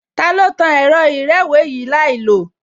Ta ló tan ẹ̀rọ ìrẹ́wèé yìí láìlòó?